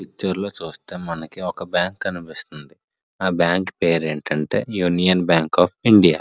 Picture లో చుస్తే మనకి ఒక బ్యాంక్ కనిపిస్తుంది ఆ బ్యాంక్ పేరేంటంటే యూనియన్ బ్యాంక్ ఆఫ్ ఇండియా .